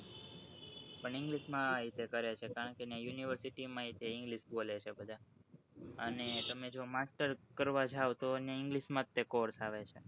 પણ english માં એવી રીતે કરે છે કારણકે એને university માં એવી રીતે english બોલે છે બધા અને તમે જો master કરવા જાઓ તો એને english માં જ course આવે છે